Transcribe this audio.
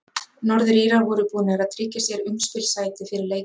Norður-Írar voru búnir að tryggja sér umspilssæti fyrir leikinn.